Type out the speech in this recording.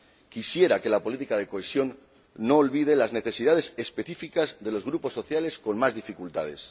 Quisiera que la política de cohesión no olvide las necesidades específicas de los grupos sociales con más dificultades.